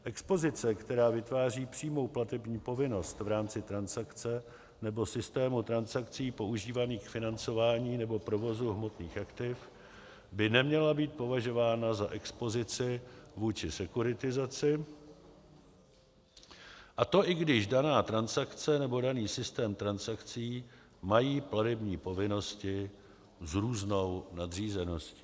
Expozice, která vytváří přímou platební povinnost v rámci transakce nebo systému transakcí používaných k financování nebo provozu hmotných aktiv, by neměla být považována za expozici vůči sekuritizaci, a to i když daná transakce nebo daný systém transakcí mají platební povinnosti s různou nadřízeností.